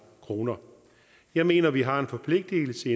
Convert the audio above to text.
kroner jeg mener at vi har en forpligtelse